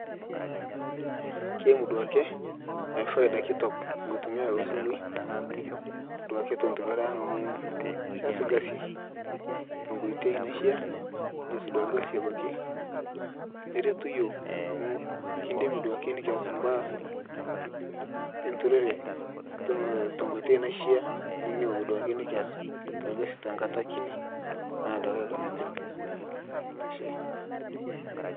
keimu duake faida kitok nkutumia ee simui duake te nturore aang amu keas lkazi tenkoitei naishia neas duake lkazi abaki neretu yooh amu kindim duake nikiaz mbaa e nturore tenkoitei naishia nikindim duake nikiaz lkazi tankata kini naaduake aiko neja